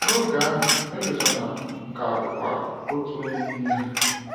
N’oge a, Elozonam ka bụkwa “otu onye n’ime ha.”